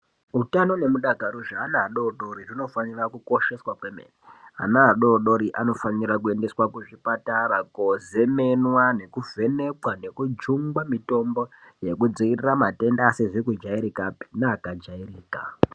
Utano nemudakaro zveana adodori zvinofanira kukosheswa kwemene ana adodori anofanira kuendeswa kuzvipatara kozemenwa nekuvhenekwa nekujungwa mitombo yekudzirira matenda asizi kudyairikapi nekajairika .